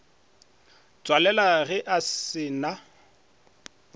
tswalela ge a se na